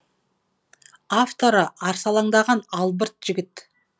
авторы арсалаңдаған албырт жігіт